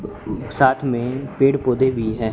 साथ में पेड़ पौधे भी है।